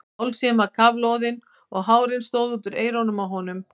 Hálsinn var kafloðinn og hárin stóðu út úr eyrunum á honum.